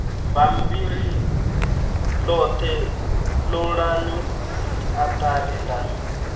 bammbiri ḽoṱhe ṱolani siaṱari ḽa